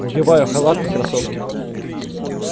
надеваю халат и кроссовки